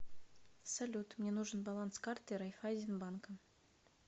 салют мне нужен баланс карты райфайзен банка